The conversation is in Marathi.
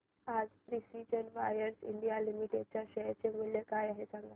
आज प्रिसीजन वायर्स इंडिया लिमिटेड च्या शेअर चे मूल्य काय आहे